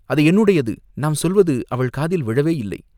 அது என்னுடையது, நாம் சொல்வது அவள் காதில் விழவேயில்லை